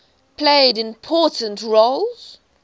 played important roles